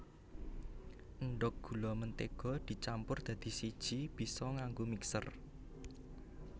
Endhog gula mentega dicampur dadi siji bisa nganggo mixer